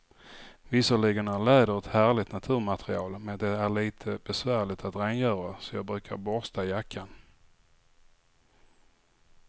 Visserligen är läder ett härligt naturmaterial, men det är lite besvärligt att rengöra, så jag brukar borsta jackan.